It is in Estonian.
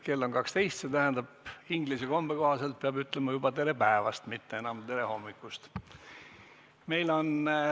Kell on 12 ja see tähendab, et inglise kombe kohaselt peab ütlema juba "Tere päevast!", mitte enam "Tere hommikust!".